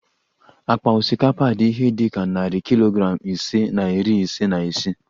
Akpa osikapa dị ihe dị ka narị kilogram ise na iri ise na isii